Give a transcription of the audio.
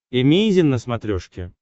эмейзин на смотрешке